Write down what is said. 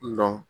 Dɔn